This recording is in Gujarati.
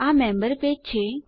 આ મેમ્બર પેજ છે